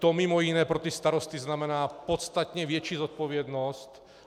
To mimo jiné pro ty starosty znamená podstatně větší zodpovědnost.